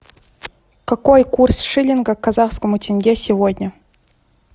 какой курс шиллинга к казахскому тенге сегодня